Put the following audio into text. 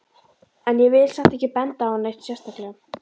En ég vil samt ekki benda á hann neitt sérstaklega.